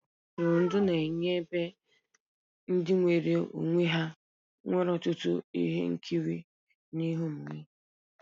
Ebe ntụrụndụ na-enye ebe ndị nwere onwe ha nwere ọtụtụ ihe nkiri na ihe omume.